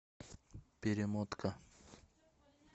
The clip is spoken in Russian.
перемотка